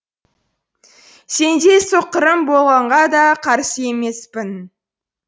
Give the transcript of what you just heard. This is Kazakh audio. сендей соққырым болғанға да қарсы емеспін